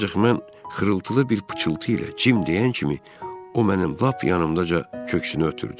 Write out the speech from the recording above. Ancaq mən xırıltılı bir pıçıltı ilə Cim deyən kimi, o mənim lap yanımdaca köksünü ötürdü.